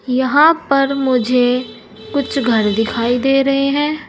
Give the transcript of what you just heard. यहां पर मुझे कुछ घर दिखाई दे रहे हैं।